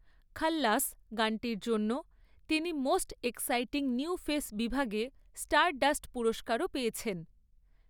‘খাল্লাস’ গানটির জন্য তিনি ‘মোস্ট এক্সাইটিং নিউ ফেস’ বিভাগে স্টারডাস্ট পুরস্কারও পেয়েছেন।